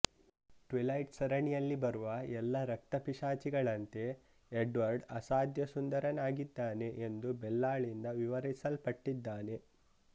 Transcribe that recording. twilight ಸರಣಿಯಲ್ಲಿ ಬರುವ ಎಲ್ಲ ರಕ್ತಪಿಶಾಚಿಗಳಂತೆ ಎಡ್ವರ್ಡ್ ಅಸಾಧ್ಯ ಸುಂದರನಾಗಿದ್ದಾನೆ ಎಂದು ಬೆಲ್ಲಾಳಿಂದ ವಿವರಿಸಲ್ಪಟ್ಟಿದ್ದಾನೆ